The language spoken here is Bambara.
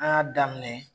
An y'a daminɛ